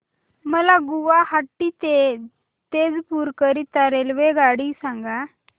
मला गुवाहाटी ते तेजपुर करीता रेल्वेगाडी सांगा